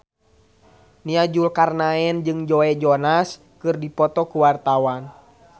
Nia Zulkarnaen jeung Joe Jonas keur dipoto ku wartawan